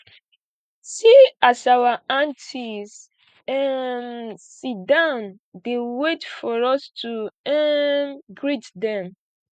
see as our aunties um sit down dey wait for us to um greet dem